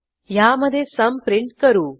ह्यामधे सुम प्रिंट करू